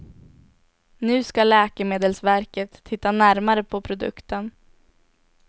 Nu ska läkemedelsverket titta närmare på produkten.